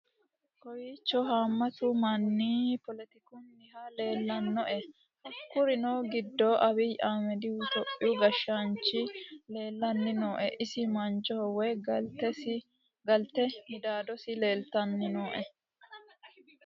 kowiicho haammatu manni poletikunihu leellannoe hakkuri giddo abiyi ahimedihu topiyu gashshaanchi leellanni nooe isi manchono woy galte midaadosi leeltanni nooe